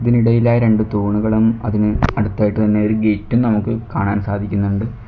ഇതിനിടയിലായി രണ്ട് തൂണുകളും അതിന് അടുത്തായിട്ട് തന്നെ ഒരു ഗേറ്റും നമുക്ക് കാണാൻ സാധിക്കുന്നുണ്ട്.